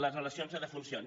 les relacions de defuncions